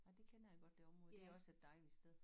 Nej det kender jeg godt det område det også et dejligt sted